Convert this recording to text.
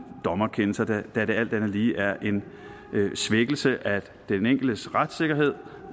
dommerkendelse da det alt andet lige er en svækkelse af den enkeltes retssikkerhed